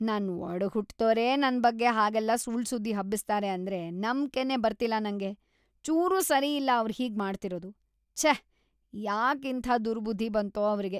ನನ್ ಒಡಹುಟ್ದೋರೇ ನನ್‌ ಬಗ್ಗೆ ಹಾಗೆಲ್ಲ ಸುಳ್ಳ್‌ ಸುದ್ದಿ ಹಬ್ಬಿಸ್ತಾರೆ ಅಂದ್ರೆ ನಂಬ್ಕೆನೇ ಬರ್ತಿಲ್ಲ ನಂಗೆ! ಚೂರೂ ಸರಿಯಲ್ಲ ಅವ್ರ್‌ ಹೀಗ್‌ ಮಾಡ್ತಿರೋದು.. ಛೇ! ಯಾಕಿಂಥ ದುರ್ಬುದ್ಧಿ ಬಂತು ಅವ್ರಿಗೆ.